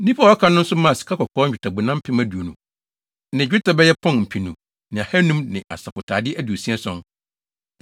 Nnipa a wɔaka no nso maa sikakɔkɔɔ nnwetɛbona mpem aduonu ne dwetɛ bɛyɛ pɔn mpenu ne ahannum ne asɔfotade aduosia ason (67).